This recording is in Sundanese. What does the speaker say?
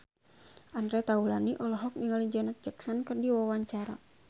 Andre Taulany olohok ningali Janet Jackson keur diwawancara